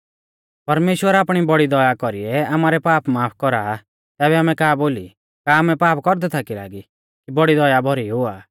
परमेश्‍वर आपणी बौड़ी दया कौरीऐ आमारै पाप माफ कौरा आ तैबै आमै का बोली का आमै पाप कौरदै थाकी लागी कि बौड़ी दया भौरी हुआ